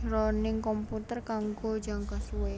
jroning komputer kanggo jangka suwé